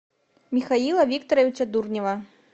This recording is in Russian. михаила викторовича дурнева